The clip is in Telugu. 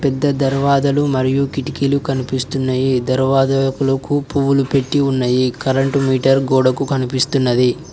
పెద్ద దర్వాజాలు మరియు కిటికీలు కనిపిస్తున్నాయి దర్వాజాకులకు పువ్వులు పెట్టి ఉన్నాయి కరెంటు మీటర్ గోడకు కనిపిస్తున్నది.